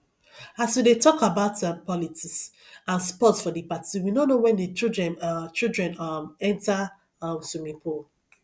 as we dey talk about um politics and sports for the party we no know wen the children um children um enter um swimming pool